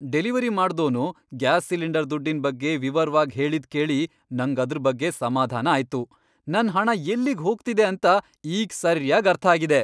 Delivery ಮಾಡ್ದೋನು gas cylinder ದುಡ್ಡಿನ್ ಬಗ್ಗೆ ವಿವರ್ವಾಗ್ ಹೇಳಿದ್ಕೇಳಿ ನಂಗ್ ಅದ್ರ್ ಬಗ್ಗೆ ಸಮಾಧಾನ ಆಯ್ತು. ನನ್ ಹಣ ಎಲ್ಲಿಗ್ ಹೋಗ್ತಿದೆ ಅಂತ ಈಗ್ ಸರ್ಯಾಗ್ ಅರ್ಥ ಆಗಿದೆ.